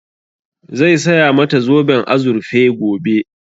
Zai saya mata zoben azurfe gobe